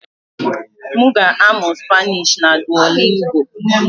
M ga-amụ Spanishi na Duolingo.